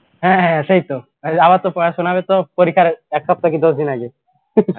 হ্যাঁ হ্যাঁ হ্যাঁ সেইতো আবার তো পড়াশোনারও তো পরীক্ষার এক সপ্তাহ কি দশদিন আগে